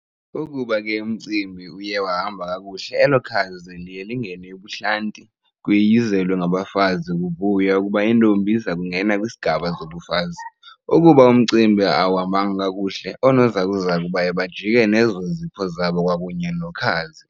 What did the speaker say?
Ukuba ke umcimbi uye wahamba kakuhle elo khazi liye lingene ebuhlanti, kuyiyizelwe ngabafazi kuvuywa kuba intombi izokungena kwisigaba zobufazi. Ukuba umcimbi awuhambanga kakuhle, Oonozakuzaku baye bajike ke nezo zipho zabo kwakunye nokhazi.